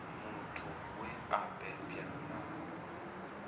muthu we a bebwa na